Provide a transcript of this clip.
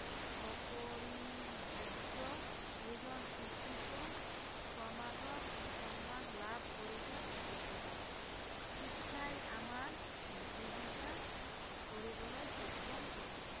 অপৰিহাৰ্য, এজন শিক্ষিত সমাজত সন্মান লাভ কৰিব বিচাৰে, শিক্ষাই আমাৰ জীৱিকা কৰিবলৈ সক্ষম কৰে